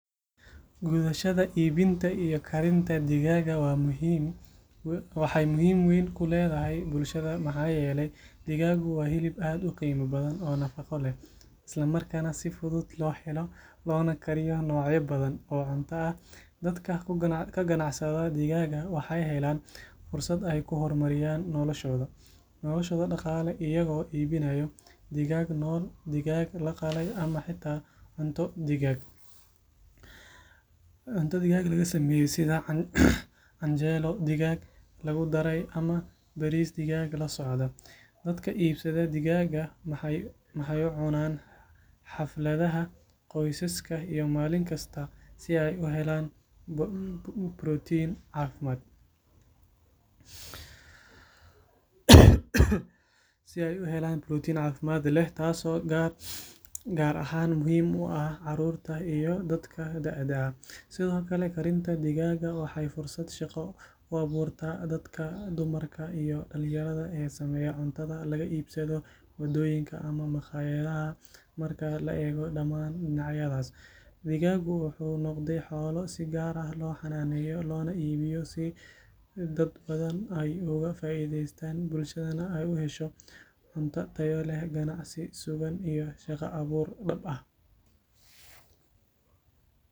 Gadashada iibinta iyo karinta digaaga waxay muhiim weyn ku leedahay bulshada maxaa yeelay digaagu waa hilib aad u qiimo badan oo nafaqo leh islamarkaana si fudud loo helo loona kariyo noocyo badan oo cunto ah dadka ku ganacsada digaaga waxay helaan fursad ay ku horumariyaan noloshooda dhaqaale iyagoo iibinaya digaag nool digaag la qalay ama xitaa cunto digaag laga sameeyay sida canjeelo digaag lagu daray ama bariis digaag la socda dadka iibsada digaaga waxay u cunaan xafladaha qoysaska iyo maalin kasta si ay u helaan borotiin caafimaad leh taasoo gaar ahaan muhiim u ah carruurta iyo dadka da’da ah sidoo kale karinta digaaga waxay fursad shaqo u abuurtaa dadka dumarka iyo dhalinyarada ee sameeya cuntada laga iibsado waddooyinka ama makhaayadaha marka la eego dhammaan dhinacyadaas digaagu wuxuu noqday xoolo si gaar ah loo xannaaneeyo loona iibiyo si dad badan ay uga faa’iidaystaan bulshadana ay u hesho cunto tayo leh ganacsi sugan iyo shaqo abuur dhab ah.